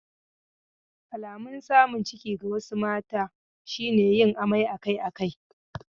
Alamun samun ciki ga wasu mata shi ne yin amai akai-akai.